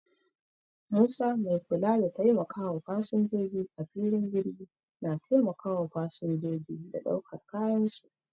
Musa mai kula da taimakawa fasinjoji a filin jirgi na taimakawa fasinjoji da daukar kayan su.